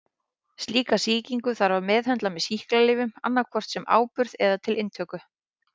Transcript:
Slíka sýkingu þarf að meðhöndla með sýklalyfjum annað hvort sem áburð eða til inntöku.